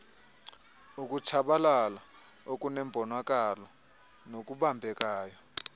ukutshabalala okunembonakalo nokubambekayo